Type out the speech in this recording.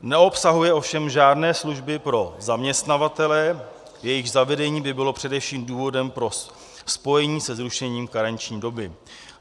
Neobsahuje ovšem žádné služby pro zaměstnavatele, jejichž zavedení by bylo především důvodem pro spojení se zrušením karenční doby.